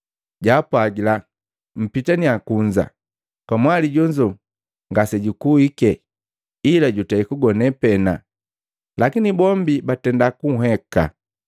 jaapwagila, “Mpitaniya kunza! Kamwali jonzo ngasejakuhike, ila jutei kugone pena.” Lakini bombi batenda kunheka.